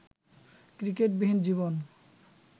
ক্রিকেটবিহীন জীবন